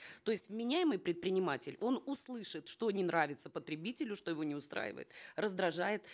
то есть вменяемый предприниматель он услышит что не нравится потребителю что его не устраивает раздражает